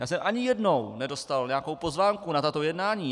Já jsem ani jednou nedostal nějakou pozvánku na tato jednání.